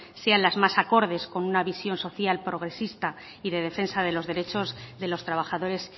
sean las más acordes con una visión social progresista y de defensa de los derechos de los trabajadores